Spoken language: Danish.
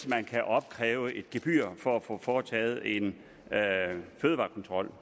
man kan afkræves et gebyr for at få foretaget en fødevarekontrol